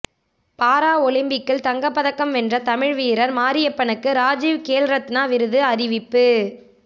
பாரா ஒலிம்பிக்கில் தங்கப்பதக்கம் வென்ற தமிழக வீரர் மாரியப்பனுக்கு ராஜீவ் கேல் ரத்னா விருது அறிவிப்பு